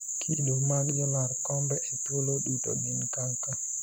kido mag jolar kombe e thuolo duto gin kaka